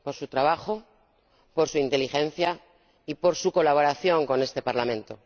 Por su trabajo, por su inteligencia y por su colaboración con este Parlamento.